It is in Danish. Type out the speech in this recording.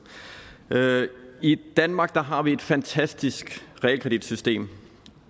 i danmark har vi et fantastisk realkreditsystem